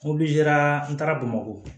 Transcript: n taara bamakɔ